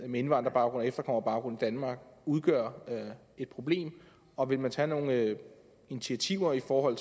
med indvandrerbaggrund og efterkommerbaggrund i danmark udgør et problem og vil man tage nogle initiativer for